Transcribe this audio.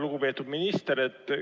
Lugupeetud minister!